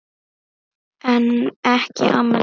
En ekki amma Didda.